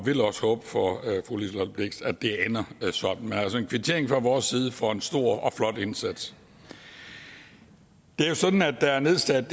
vil også håbe for fru liselott blixt at det ender sådan men altså en kvittering fra vores side for en stor og flot indsats det er jo sådan at der er nedsat